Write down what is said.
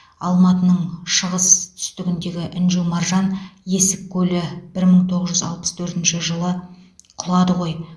алматының шығыс түстігіндегі інжу маржан есік көлі бір мың тоғыз жүз алпыс төртінші жылы құлады ғой